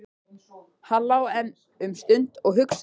Hann lá enn um stund og hugsaði.